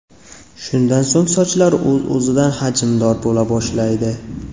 Shundan so‘ng sochlar o‘z-o‘zida hajmdor bo‘la boshlaydi.